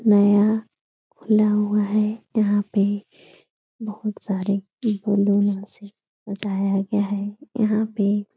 नया खुला हुआ है यहाँ पे बहुत सारी बैलून्स से सजाया गया है। यहाँ पे --